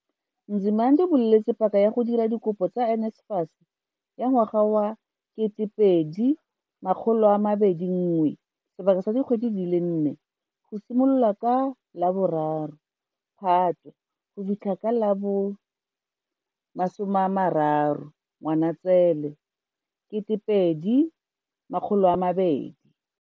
Nzimande, o buletse paka ya go dira dikopo tsa NSFAS ya ngwaga wa 2021 sebaka sa dikgwedi di le nne, go simolola ka la bo 3 Phatwe go fitlha ka la bo 30 Ngwanaitseele 2020.